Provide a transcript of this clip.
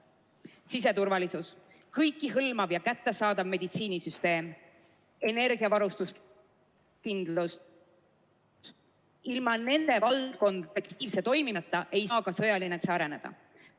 Siseturvalisus, kõiki hõlmav ja kättesaadav meditsiinisüsteem, energiavarustuskindlus – ilma nende valdkondade efektiivse toimimiseta ei saa ka sõjaline valdkond areneda.